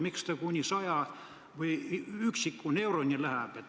Miks ta kuni üksiku euroni läheb?